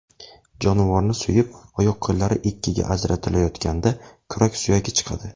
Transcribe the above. Jonivorni so‘yib, oyoq-qo‘llari ikkiga ajratilayotganda kurak suyagi chiqadi.